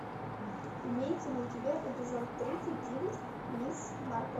имеется ли у тебя эпизод тридцать девять мисс марпл